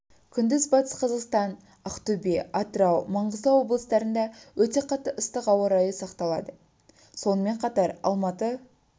күндіз батыс қазақстан ақтөбе атырау маңғыстау облыстарында өте қатты ыстық ауа райы сақталады сонымен қатар алматы